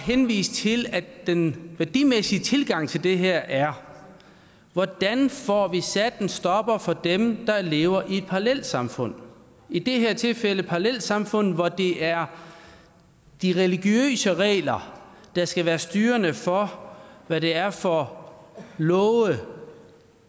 henvise til at den værdimæssige tilgang til det her er hvordan vi får sat en stopper for dem der lever i et parallelsamfund i det her tilfælde parallelsamfund hvor det er de religiøse regler der skal være styrende for hvad det er for love